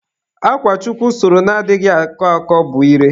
Akwa Chukwu sụrụ na-anaghị akọ akọ bụ ire.